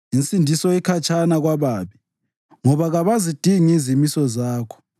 Insindiso ikhatshana kwababi, ngoba kabazidingi izimiso zakho.